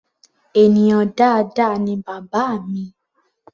Ènìyàn dáadáa ni bàbá mi.